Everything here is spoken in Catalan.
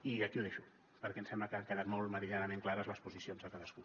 i aquí ho deixo perquè em sembla que han quedat molt meridianament clares les posicions de cadascú